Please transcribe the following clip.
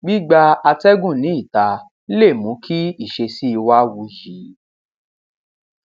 gbígba atẹgùn ní ìta lè mú kí ìsesí wa wuyì